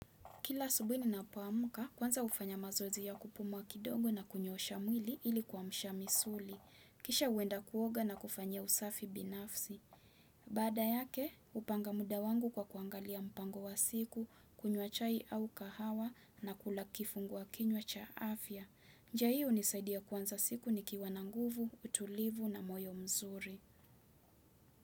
Kila asubuhi ninapoamka, kwanza hufanya mazoezi ya kupumua kidogo na kunyoosha mwili ili kuamsha misuli. Kisha huenda kuoga na kufanya usafi binafsi. Baada yake, hupanga muda wangu kwa kuangalia mpango wa siku, kunywa chai au kahawa na kula kifungua kinywa cha afya. Njia hiyo hunisaidia kuanza siku nikiwa na nguvu, utulivu na moyo mzuri.